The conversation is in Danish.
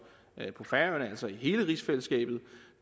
på færøerne altså i hele rigsfællesskabet